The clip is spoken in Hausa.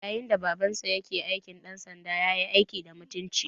Yayin da Babansa ke aikin ɗansanda, ya yi aiki da mutunci.